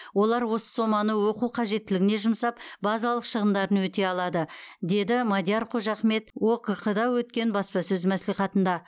олар осы соманы оқу қажеттілігіне жұмсап базалық шығындарын өтей алады деді мадияр қожахмет окқ да өткен баспасөз мәслихатында